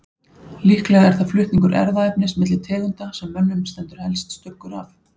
Líklega er það flutningur erfðaefnis milli tegunda sem mönnum stendur helst stuggur af.